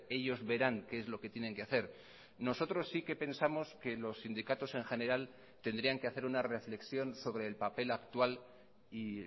ellos verán qué es lo que tienen que hacer nosotros sí que pensamos que los sindicatos en general tendrían que hacer una reflexión sobre el papel actual y